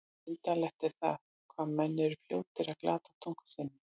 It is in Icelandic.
Undarlegt er það, hvað menn eru fljótir að glata tungu sinni.